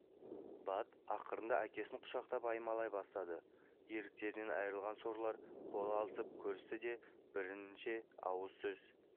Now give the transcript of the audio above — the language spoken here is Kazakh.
бат ақырында әкесін құшақтап аймалай бастады еріктерінен айырылған сорлылар қол алысып көрісті де бірнеше ауыз сөз